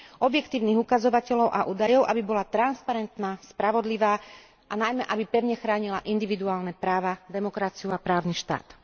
objektívnych ukazovateľov a údajov, aby bola transparentná, spravodlivá a najmä aby pevne chránila individuálne práva, demokraciu a právny štát.